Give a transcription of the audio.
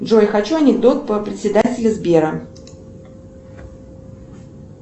джой хочу анекдот про председателя сбера